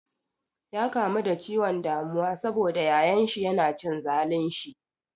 Ya kamu da ciwon damuwa sabo da yayan shi yana cin zalun shi.